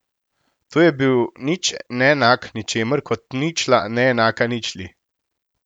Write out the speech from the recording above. To je bil nič neenak ničemur, kot ničla neenaka ničli.